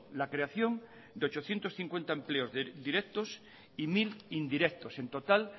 la creación de ochocientos cincuenta empleos directos y mil indirectos en total